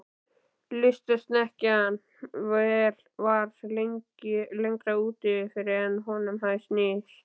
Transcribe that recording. Lystisnekkjan var lengra úti fyrir en honum hafði sýnst.